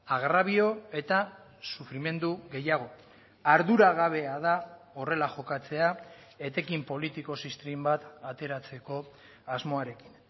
agrabio eta sufrimendu gehiago arduragabea da horrela jokatzea etekin politiko ziztrin bat ateratzeko asmoarekin